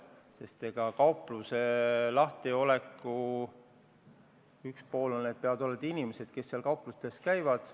Kaupluse lahtiolekuks peavad olema inimesed, kes kaupluses käivad.